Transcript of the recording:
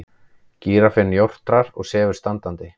Gíraffinn jórtrar og sefur standandi.